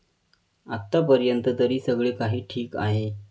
आतापर्यंत तरी सगळे काही ठिक आहे.